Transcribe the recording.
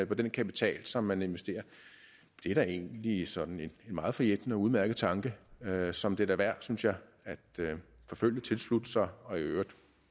på den kapital som man investerer er da egentlig sådan en meget forjættende og udmærket tanke som det da synes jeg er værd at forfølge og tilslutte sig og i øvrigt